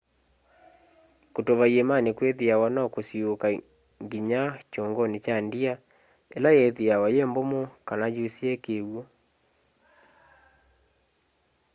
kutuva iimani kwithiawa no kusiuuka nginya kyunguni kya ndia ila yitiawa yi mbumu kana yusie kiw'u